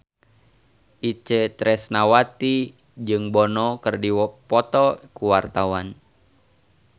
Itje Tresnawati jeung Bono keur dipoto ku wartawan